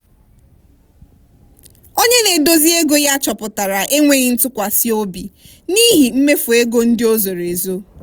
onye na-eduzi ego ya chọpụtara enweghị ntụkwasị obi n'ihi mmefu ego ndị o zoro ezo.